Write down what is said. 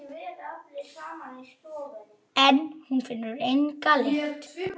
En hún finnur enga lykt.